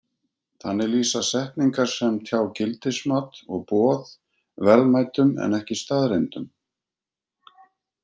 Þannig lýsa setningar sem tjá gildismat og boð verðmætum en ekki staðreyndum.